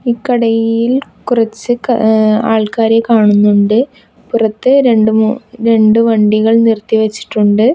ഇക്കടയിൽ കുറച്ച് ക എ ആൾക്കാരെ കാണുന്നുണ്ട് പുറത്ത് രണ്ടു മൂ രണ്ടു വണ്ടികൾ നിർത്തിവച്ചിട്ടുണ്ട്.